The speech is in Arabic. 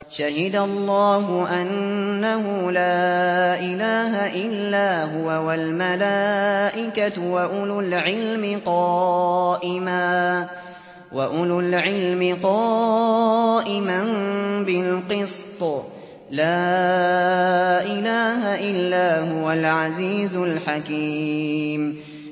شَهِدَ اللَّهُ أَنَّهُ لَا إِلَٰهَ إِلَّا هُوَ وَالْمَلَائِكَةُ وَأُولُو الْعِلْمِ قَائِمًا بِالْقِسْطِ ۚ لَا إِلَٰهَ إِلَّا هُوَ الْعَزِيزُ الْحَكِيمُ